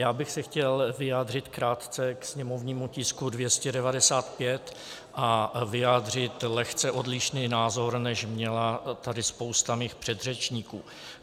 Já bych se chtěl vyjádřit krátce k sněmovnímu tisku 295 a vyjádřit lehce odlišný názor, než měla tady spousta mých předřečníků.